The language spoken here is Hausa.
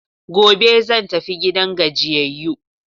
Gobe zan tafi gidan gajiyayu.